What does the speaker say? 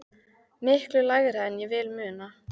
Miklu lægra en ég vil muna.